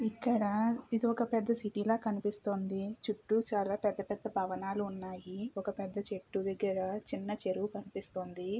ఇక్కడ ఇది ఒక పెద్ద సిటీ లా కనిపిస్తోంది. చుట్టూ చాలా పెద్ద పెద్ద భవనాలు ఉన్నాయి. ఒక పెద్ద చెట్టు దగ్గర ఒక చిన్న చెరువు కనిపిస్తుంది.